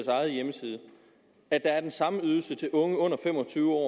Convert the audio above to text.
egen hjemmeside at der er den samme ydelse til udeboende unge under fem og tyve år